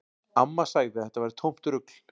Amma sagði að þetta væri tómt rugl.